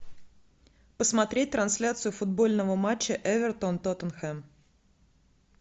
посмотреть трансляцию футбольного матча эвертон тоттенхэм